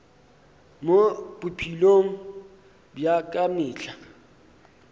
mo bophelong bja ka mehla